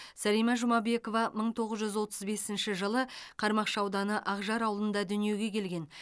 сәлима жұмабекова мың тоғыз жүз отыз бесінші жылы қармақшы ауданы ақжар ауылында дүниеге келген